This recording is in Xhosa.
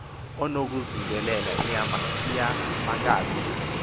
unokuyizingelela inyamakazi na